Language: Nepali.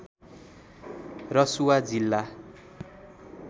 रसुवा जिल्ला